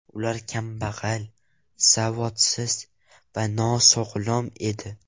Ular kambag‘al, savodsiz va nosog‘lom edi.